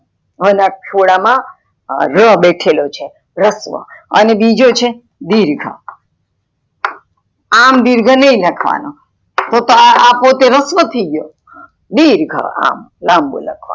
હા ના ખોલા માં ર બેઠેલો છે, રસ્વ અને બીજો છે દિર્ઘ આમ દિર્ઘ નાય લખવાનો આ પોતે રસ્વ થય ગયો દિર્ઘ અમ લાંબુ બુ લાખનું.